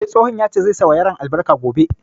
Eh, tsohon ya ce zai sa wa yaran albarka gobe